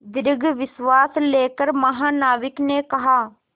दीर्घ निश्वास लेकर महानाविक ने कहा